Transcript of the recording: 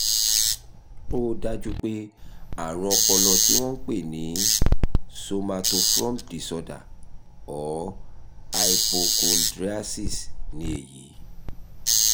ó dájú pé àrùn ọpọlọ tí wọ́n ń pè ní somatoform disorder or hypochondriasis ni èyí